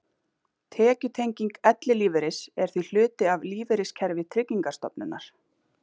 Tekjutenging ellilífeyris er því hluti af lífeyriskerfi Tryggingarstofnunar.